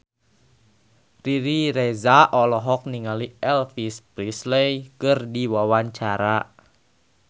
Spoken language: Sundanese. Riri Reza olohok ningali Elvis Presley keur diwawancara